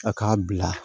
A k'a bila